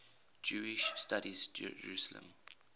jewish studies jerusalem